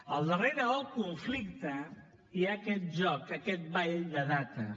al darrere del conflicte hi ha aquest joc aquest ball de dates